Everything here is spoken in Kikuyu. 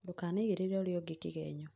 ndũkanaigĩrĩre ũrĩa ũngĩ kĩgenyo